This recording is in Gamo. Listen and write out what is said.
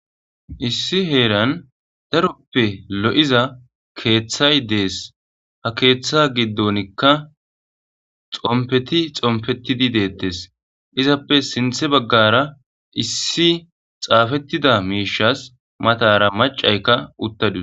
issi heeran daroppe lo7iza keeththay dees ha keeththa giddonikka xompeti xompetidi deettes izappe sinthe baggara issi xaafettida miishas matara macayka utta due